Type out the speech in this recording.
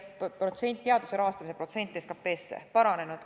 Meie teaduse rahastamise protsent võrreldes SKP-ga on paranenud.